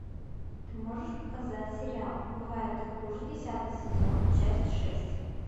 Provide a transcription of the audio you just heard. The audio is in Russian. ты можешь показать сериал бывает и хуже десятый сезон часть шесть